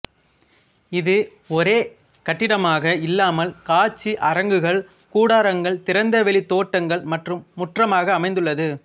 இது ஒரே கட்டிடமாக இல்லாமல் காட்சி அரங்குகள் கூடாரங்கள் திறந்தவெளி தோட்டங்கள் மற்றும் முற்றமாக அமைந்துள்ளது